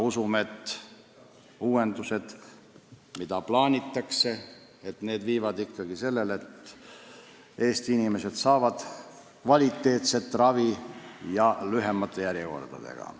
Usume siiski, et plaanitud uuendused viivad selleni, et Eesti inimesed saavad kvaliteetset ravi ja seda lühemate järjekordadega.